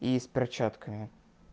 и с перчатками